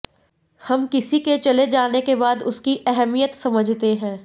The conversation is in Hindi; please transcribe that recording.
हम किसी के चले जाने के बाद उसकी अहमियत समझते हैं